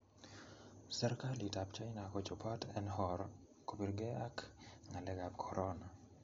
Serikalit ap china kochobot en or nr kobirge ag ngalek ap Korona.